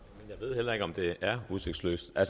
jeg ved heller ikke om det er udsigtsløst jeg